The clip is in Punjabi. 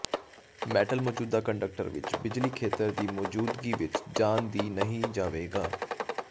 ਮੈਟਲ ਮੌਜੂਦਾ ਕੰਡਕਟਰ ਵਿਚ ਬਿਜਲੀ ਖੇਤਰ ਦੀ ਮੌਜੂਦਗੀ ਵਿੱਚ ਜਾਣ ਦੀ ਨਹੀ ਜਾਵੇਗਾ